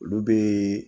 Olu bɛ